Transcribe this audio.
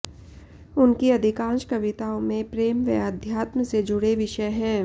उनकी अधिकांश कविताओं में प्रेम व आध्यात्म से जुड़े विषय हैं